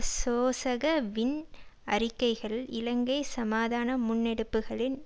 சோசக வின் அறிக்கைகள் இலங்கை சமாதான முன்னெடுப்புகளின்